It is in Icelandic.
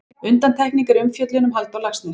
Undantekning er umfjöllun um Halldór Laxness.